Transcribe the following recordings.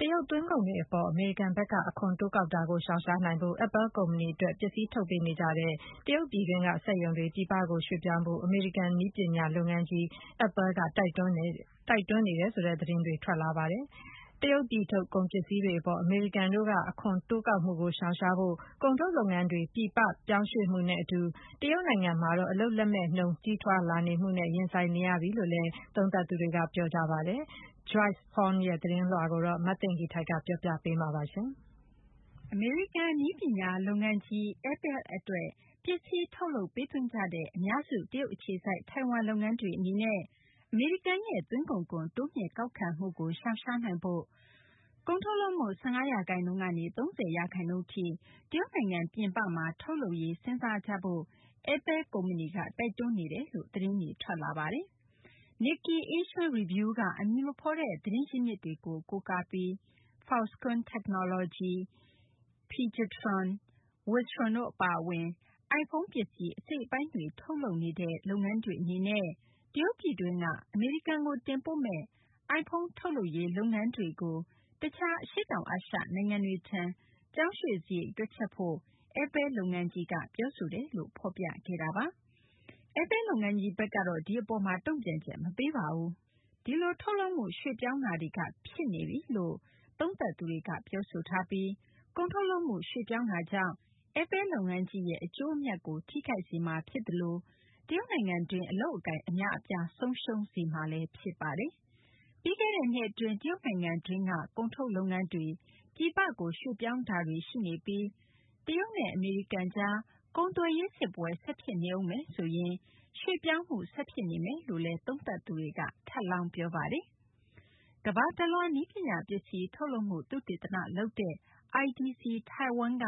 တရုတ် သွင်းကုန်တွေ အပေါ် အမေရိကန်ဘက်က အခွန်တိုးကောက်တာကို ရှောင်ရှားနိုင်ဖို့ Apple ကုမ္ပဏီ အတွက် ပစ္စည်း ထုတ်ပေးနေကြတဲ့ တရုတ်ပြည်တွင်းက စက်ရုံတွေ ပြည်ပကို ရွှေ့ပြောင်းဖို့ အမေရိကန် နည်းပညာ လုပ်ငန်းကြီး Apple က တိုက်တွန်းနေတယ်ဆိုတဲ့ သတင်းတွေ ထွက်လာပါတယ်။ တရုတ်ပြည်ထုတ် ကုန်ပစ္စည်းတွေ အပေါ် အမေရိကန်တို့ အခွန်တိုးကောက်မှုကို ရှောင်ရှားဖို့ ကုန်ထုတ်လုပ်ငန်းတွေ ပြည်ပ ရွှေ့ပြောင်းမှုနဲ့ အတူ တရုတ်နိုင်ငံမှာတော့ အလုပ်လက်မဲ့နှုန်း ကြီးထွားလာမှုနဲ့ ရင်ဆိုင်နေရပြီလို့လည်း သုံးသပ်သူတွေက ပြောဆိုကြပါတယ်။ Joyce Huang ရဲ့ သတင်းကို မသိင်္ဂ ီထိုက် ပြောပြပေးမှာပါ။ အမေရိကန် နည်းပညာ လုပ်ငန်းကြီး Apple အတွက် ပစ္စည်း ထုတ်လုပ် ပေးသွင်းနေကြတဲ့ အများစု တရုတ် အခြေစိုက် ထိုင်ဝမ် လုပ်ငန်းတွေ အနေနဲ့ အမေရိကန်ရဲ့ သွင်းကုန်ခွန် တိုးမြှင့် ကောက်ခံမှုကို ရှောင်ရှားနိုင်ဖို့ ကုန်ထုတ်လုပ်မှု ၁၅ ရာခိုင်နှုန်း ကနေ ၃၀ ရာခိုင်နှုန်းထိ တရုတ်နိုင်ငံ ပြင်ပမှာ ထုတ်လုပ်ရေး စဉ်းစားကြဖို့ Apple ကုမ္ပဏီက တိုက်တွန်းနေကြောင်း သတင်းတွေ ထွက်လာပါတယ်။ Nikkei Asian Review က အမည်မဖော်တဲ့ သတင်းရင်းမြစ်တွေကို ကိုးကားပြီး Foxconn Technology၊ Pegatron ၊ Wistron တို့ အပါအဝင် iPhone ပစ္စည်း အစိတ်အပိုင်းတွေ ထုတ်လုပ်နေတဲ့ လုပ်ငန်းတွေ အနေနဲ့ တရုတ်ပြည်တွင်းက အမေရိကန်ကို တင်ပို့မယ့် iPhone ထုတ်လုပ်ရေး လုပ်ငန်းတွေကို တခြား အရှေ့တောင်အာရှ နိုင်ငံတွေထံ ပြောင်းရွှေ့စာရိတ်ကို တွက်ချက်ဖို့ Apple လုပ်ငန်းကြီးက ပြောဆိုထားတယ်လို့ ဖော်ပြခဲ့တာပါ။ Apple လုပ်ငန်းကြီး ဘက်ကတော့ ဒီအပေါ်မှာ တုံ့ပြန်ချက် မပေးပါဘူး။ ဒီလို ထုတ်လုပ်မှု ရွှေ့ပြောင်းတာတွေ ဖြစ်နေပြီလို့ သုံးသပ်သူတွေက ပြောဆိုထားပြီး ဒီလို ကုန်ထုတ်လုပ်မှု ရွှေ့ပြောင်းတာကြောင့် Apple လုပ်ငန်းကြီးရဲ့ အကျိုးအမြတ်ကို ထိခိုက်စေမှာ ဖြစ်သလို တရုတ်နိုင်ငံတွင်း အလုပ်အကိုင် အများအပြား ဆုံးရှုံးမှာလည်း ဖြစ်ပါတယ်။ ပြီးခဲ့တဲ့နှစ် အတွင်း တရုတ်နိုင်ငံတွင်းကနေ ကုန်ထုတ်လုပ်ငန်းတွေ ပြည်ပကို ရွှေ့ပြောင်းတာတွေ ရှိနေပြီး တရုတ်နဲ့ အမေရိကန်ကြား ကုန်သွယ်ရေး စစ်ပွဲ ဆက်ဖြစ်နေဦးမယ်ဆိုရင် ရွှေ့ပြောင်းမှုက ဆက်ဖြစ်နေဦးမယ် လို့လည်း သုံးသပ်သူတွေက ထပ်လောင်း ပြောပါတယ်။ ကမ္ဘာတလွှား နည်းပညာ ပစ္စည်း ထုတ်လုပ်မှု သုတေသနလုပ်တဲ့ IDC Taiwan က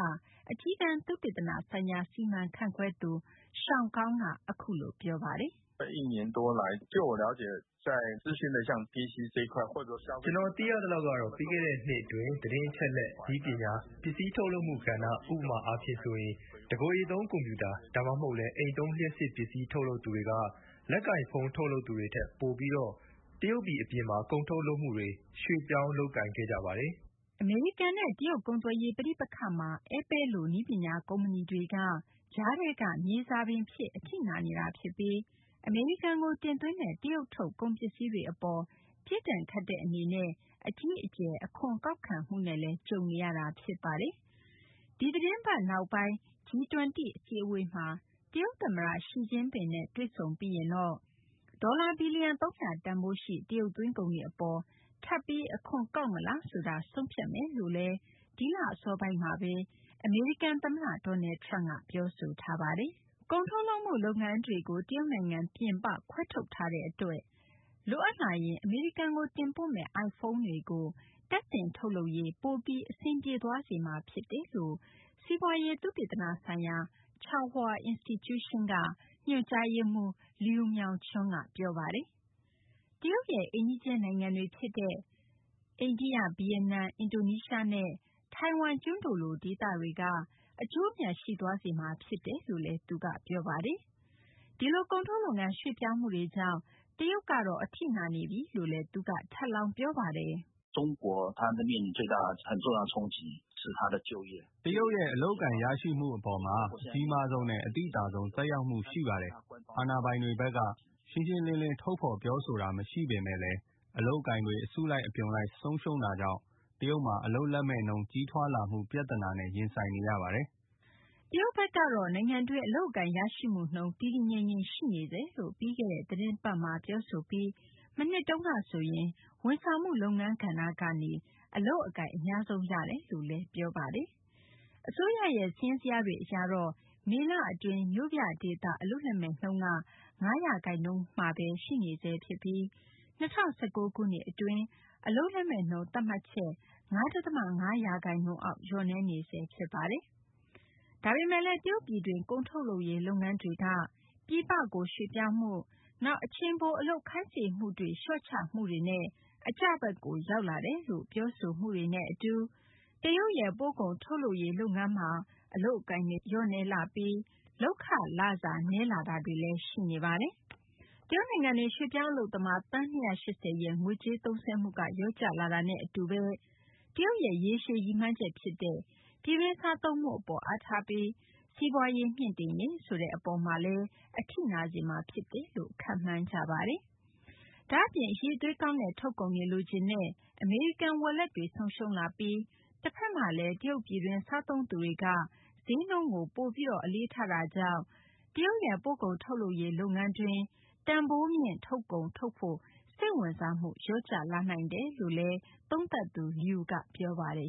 အကြီးတန်း သုတေသန ဆိုင်ရာ စီမံခန့်ခွဲသူ Sean Kao ကတော့ အခုလို ပြောပါတယ်။ "ကျနော် သိရသလောက်ကတော့ ပြီးခဲ့တဲ့နှစ် အတွင်း သတင်းအချက်အလက် နည်းပညာ ပစ္စည်း ထုတ်လုပ်မှု ကဏ္ဍ ဥပမာအားဖြင့်ဆိုရင် တကိုယ်ရေသုံး ကွန်ပြူတာ ဒါမှမဟုတ်လည်း အိမ်သုံး လျှပ်စစ်ပစ္စည်း ထုတ်လုပ်သူတွေက လက်ကိုင်ဖုန်း ထုတ်လုပ်သူတွေထက် ပိုပြီးတော့ တရုတ်ပြည် အပြင်မှာ ကုန်ထုတ်လုပ်မှုတွေကို ရွှေ့ပြောင်းခဲ့ကြပါတယ်။" အမေရိကန်နဲ့ တရုတ် ကုန်သွယ်ရေး ပဋိပက္ခမှာ Apple လို နည်းပညာ ကုမ္ပဏီတွေက ကြားထဲက မြေဇာပင်ဖြစ် အထိနာနေတာ ဖြစ်ပြီး အမေရိကန်ကို တင်သွင်းတဲ့ တရုတ်ထုတ် ကုန်ပစ္စည်းတွေ အပေါ် ပြစ်ဒဏ်ခတ်တဲ့ အနေနဲ့ အကြီးအကျယ် အခွန်ကောက်ခံမှုနဲ့လည်း ကြုံတွေ့နေရတာ ဖြစ်ပါတယ်။ ဒီသတင်းပတ်နောက်ပိုင်း G -20 အစည်းအဝေးမှာ တရုတ် သမ္မတ Xi Jinping နဲ့ တွေ့ဆုံပြီးရင်တော့ ဒေါ်လာ ဘီလီယံ ၃၀၀ တန်ဖိုးရှိ တရုတ် သွင်းကုန်တွေ အပေါ် ထပ်ပြီး အခွန်ကောက်မလားဆိုတာကို ဆုံးဖြတ်မယ်လို့လည်း ဒီလ အစောပိုင်းမှာဘဲ အမေရိကန် သမ္မတ Donald Trump က ပြောဆိုထားတာပါ။ ကုန်ထုတ်လုပ်မှု လုပ်ငန်းတွေကို တရုတ် နိုင်ငံပြင်ပကို ခွဲထုတ်ထားတဲ့ အတွက် လိုအပ်လာရင် အမေရိကန်ကို တင်ပို့မယ့် iPhone တွေကို တပ်ဆင် ထုတ်လုပ်ရေး ပိုပြီး အဆင်ပြေသွားစေမှာ ဖြစ်တယ်လို့ စီးပွားရေး သုတေသန ဆိုင်ရာ Chaung-Hua Institution က ညွှန်ကြားရေးမှူး Liu Meng-chun က ပြောပါတယ်။ တရုတ်ရဲ့ အိမ်နီးချင်း နိုင်ငံတွေ ဖြစ်တဲ့ အိန္ဒိယ၊ ဗီယက်နမ်၊ အင်ဒိုနီးရှားနဲ့ ထိုင်ဝမ်ကျွန်းတို့လို ဒေသတွေက အကျိုးအမြတ် ရှိသွားစေမှာ ဖြစ်တယ်လို့လည်း သူက ပြောပါတယ်။ ဒီလို ကုန်ထုတ်လုပ်ငန်း ရွှေ့ပြောင်းမှုတွေကြောင့် တရုတ်ကတော့ အထိနာနေတယ်လို့လည်း သူက ထပ်လောင်း ပြောပါတယ်။ "တရုတ်ရဲ့ အလုပ်အကိုင် ရရှိမှု အပေါ်မှာ အကြီးမားဆုံးနဲ့ အသိသာဆုံး သက်ရောက်မှု ရှိပါတယ်။ အာဏာပိုင်တွေဘက်က ရှင်းရှင်းလင်းလင်း ထုတ်ဖော် ပြောဆိုတာ မရှိပေမယ့်လည်း အလုပ်အကိုင်တွေ အစုလိုက် အပြုံလိုက် ဆုံးရှုံးတာကြောင့် တရုတ်မှာ အလုပ်လက်မဲ့နှုန်း ကြီးထွားလာမှု ပြသနာနဲ့ ရင်ဆိုင်နေရပါတယ်။" တရုတ်ဘက်ကတော့ နိုင်ငံတွင်း အလုပ်အကိုင်ရရှိမှုနှုန်းက တည်တည်ငြိမ်ငြိမ် ရှိနေဆဲလို့ ပြီးခဲ့တဲ့ သတင်းပတ်မှာ ပြောဆိုပြီး မနှစ်ကဆိုရင်ဝန်ဆောင်မှု လုပ်ငန်းကဏ္ဍကနေ အလုပ်အကိုင် အများဆုံး ရရှိတယ်လို့လည်း ပြောဆိုထားပါတယ်။ အစိုးရရဲ့ စာရင်းဇယားတွေ အရတော့ မေလအတွင်း မြို့ပြဒေသ အလုပ်လက်မဲ့နှုန်းက ၅ ရာခိုင်နှုန်းမှာဘဲ ရှိနေဆဲ ဖြစ်ပြီး ၂၀၁၉ ခုနှစ် အတွင်း အလုပ်လက်မဲ့နှုန်း သတ်မှတ်ချက် ၅ ဒသမ ၅ ရာခိုင်နှုန်းအောက် လျော့နည်းနေဆဲ ဖြစ်ပါတယ်။ ဒါပေမယ့်လည်း တရုတ်ပြည်တွင်း ကုန်ထုတ်လုပ်ရေး လုပ်ငန်းတွေက ပြည်ပကို ရွှေ့ပြောင်းမှု၊ နောက် အချိန်ပို အလုပ်ခိုင်းစေမှုတွေကို လျှော့ချမှုတွေနဲ့ အကျဘက်ကို ရောက်လာတယ်လို့ ပြောဆိုတာနဲ့ အတူ တရုတ်ရဲ့ ပို့ကုန် ထုတ်လုပ်ရေး လုပ်ငန်းမှာ အလုပ်အကိုင်တွေ လျော့နည်းလာပြီး လုပ်ခလစာ နည်းလာတာတွေ ရှိနေပါတယ်။ တရုတ်နိုင်ငံတွင်း ရွှေ့ပြောင်းအလုပ်သမား သန်း ၂၈၀ ရဲ့ ငွေကြေးသုံးစွဲမှုက လျော့ကျလာတာနဲ့ အတူ တရုတ်ရဲ့ ရေရှည် ရည်မှန်းချက် ဖြစ်တဲ့ ပြည်တွင်း စားသုံးမှု အပေါ် အားထားပြီး စီးပွားရေး မြှင့်တင်ရေး ဆိုတဲ့ အပေါ်မှာတော့ အထိနာစေမှာ ဖြစ်တယ်လို့လည်း ခန့်မှန်းထားကြပါတယ်။ ဒါ့အပြင် အရည်အသွေးကောင်းတဲ့ ထုတ်ကုန်တွေ လိုချင်တဲ့ အမေရိကန် ဝယ်လက်တွေ ဆုံးရှုံးလာပြီး တဖက်မှာ တရုတ် ပြည်တွင်း စားသုံးသူတွေကတော့ ဈေးနှုန်းကို ပိုပြီး အလေးထားတာကြောင့် တရုတ်ရဲ့ ပို့ကုန် ထုတ်လုပ်ရေး လုပ်ငန်းတွင်း တန်ဖိုးမြင့် ထုတ်ကုန်တွေ ထုတ်ဖို့ စိတ်ဝင်စားမှုလည်း လျော့ကျလာနိုင်တယ်လို့လည်း သုံးသပ်သူ Liu က ပြောပါတယ်။